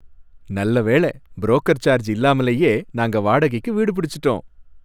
நல்ல வேளை! Broker charge இல்லாமலயே நாங்க வாடகைக்கு வீடு புடிச்சிட்டோம்.